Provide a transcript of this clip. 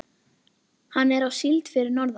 Hann er á síld fyrir norðan.